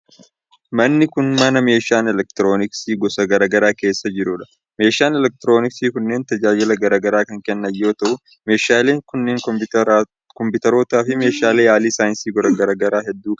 Manni kun, mana meeshaan elektirooniksii gosa garaa garaa keessa jiruu dha. Meeshaan elektirooniksii kunneen tajaajila garaa garaa kan kennan yoo ta'u, meeshaaleen kunneen koompitaroota fi meeshaalee yaalii saayinsii gosa garaa garaa hedduu dha.